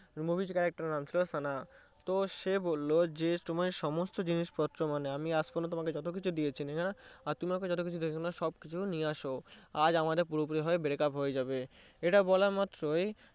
movie তে character এর নাম ছিলো সানা তো সে বললো যে তুমি সমস্ত জিনিসপত্র আজ পর্যন্ত যতকিছু দিয়েছি আর তুমি আমাকে যতকিছু দিয়েছো সবকিছু নিয়ে আসো